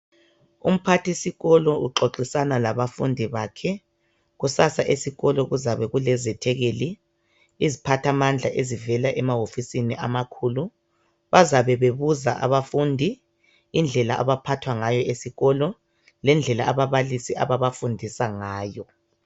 Umphathisikolo uxoxisana labafundi bakhe kusasa esikolo kuzabe kulezethekeli iziphathamandla ezivela emawofisini amakhulu bazabe bebuza abafundi indlela abaphathwa ngayo esikolo lendlela ababalisi ababafudisa ngayo